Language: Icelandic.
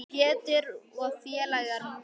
Pétur og félagar mæta.